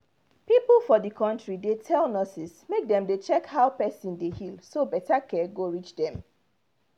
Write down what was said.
people for the country dey tell nurses make dem dey check how person dey heal so better care go reach dem